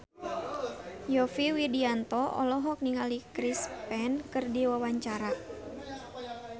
Yovie Widianto olohok ningali Chris Pane keur diwawancara